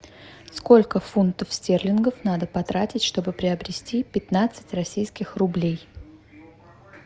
сколько фунтов стерлингов надо потратить чтобы приобрести пятнадцать российских рублей